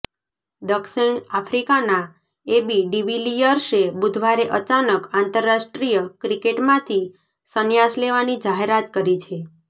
દક્ષિણ આફ્રિકાના એબી ડિવિલિયર્સે બુધવારે અચાનક આંતરરાષ્ટ્રીય ક્રિકેટમાંથી સંન્યાસ લેવાની જાહેરાત કરી છે